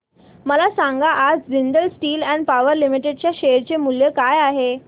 मला सांगा आज Jindal steel and power limited च्या शेअर चे मूल्य काय आहे